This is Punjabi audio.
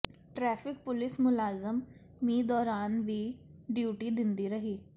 ਟ੍ਰੈਫ਼ਿਕ ਪੁਲਿਸ ਮੁਲਾਜ਼ਮ ਮੀਂਹ ਦੌਰਾਨ ਵੀ ਡਿਊਟੀ ਦਿੰਦੇ ਰਹੇ